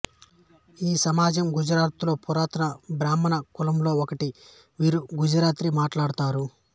ఈ సమాజం గుజరాత్ లో పురాతన బ్రాహ్మణ కులములో ఒకటి వీరు గుజరాతీ మాట్లాడతారు